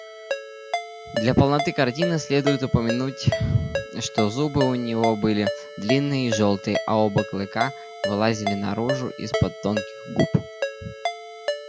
для полноты картины следует упомянуть что зубы у него были длинные и жёлтые а оба клыка вылазили наружу из-под тонких губ